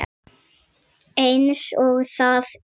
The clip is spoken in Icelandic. Eins og það er.